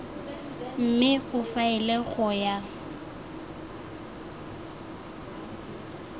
mme o faele go ya